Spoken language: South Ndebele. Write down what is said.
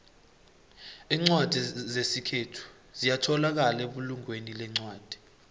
incwadi zesikhethu ziyatholakala ebulungweni lencwadi